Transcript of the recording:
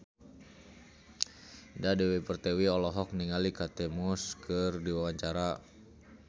Indah Dewi Pertiwi olohok ningali Kate Moss keur diwawancara